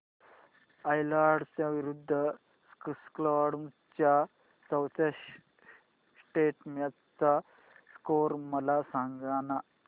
Ireland विरूद्ध Scotland च्या चौथ्या टेस्ट मॅच चा स्कोर मला सांगना